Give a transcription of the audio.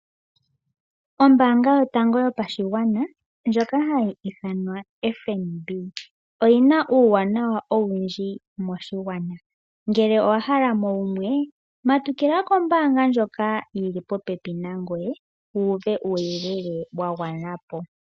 Ombaanga yotango yopashigwana ndjoka hayi ithanwa FNB, oyina uuwanawa owundji moshigwana. Ngele owa hala mo wumwe matukila kombaanga ndjoka yili po pepi nangoye wuuve uuyelele wa gwana po.